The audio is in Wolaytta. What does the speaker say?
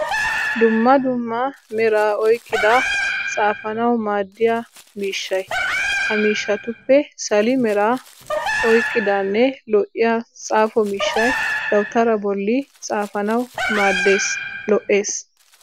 Dumma dumma meraa oyqqida xaafanawu maaddiya miishshay. Ha miishshatuppe sali meraa oyaqqidanne lo'iyaa xaafo mishshay dawutaraa bolli xaafaanawu maaddes lo'es.